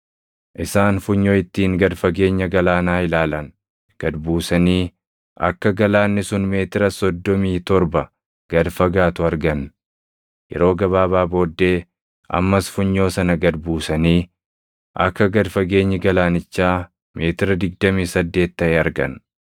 Isaan funyoo ittiin gad fageenya galaanaa ilaalan gad buusanii akka galaanni sun meetira soddomii torba gad fagaatu argan; yeroo gabaabaa booddee ammas funyoo sana gad buusanii akka gad fageenyi galaanichaa meetira digdamii saddeet taʼe argan.